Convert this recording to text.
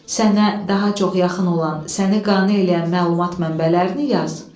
Sənə daha çox yaxın olan, səni qane eləyən məlumat mənbələrini yaz.